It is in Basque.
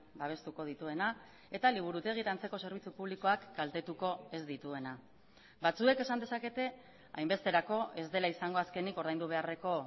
babestuko dituena eta liburutegi eta antzeko zerbitzu publikoak kaltetuko ez dituena batzuek esan dezakete hainbesterako ez dela izango azkenik ordaindu beharreko